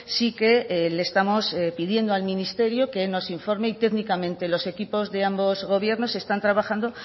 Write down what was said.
sí que le estamos pidiendo al ministerio que nos informe y técnicamente los equipos de ambos gobiernos están trabajando